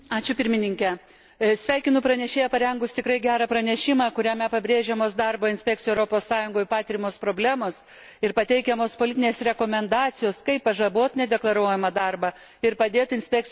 Sveikinu pranešėją parengus tikrai gerą pranešimą, kuriame pabrėžiamos darbo inspekcijų Europos Sąjungoje patiriamos problemos ir pateikiamos politinės rekomendacijos, kaip pažaboti nedeklaruojamą darbą ir padėti inspekcijoms veiksmingiau dirbti.